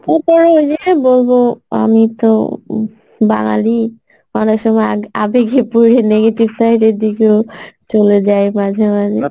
তারপরে ওই যে বলবো আমি তো বাঙালি অনেকসময় আ~ আবেগে পরে negative side এর দিকেও চলে যাই মাঝে মাঝে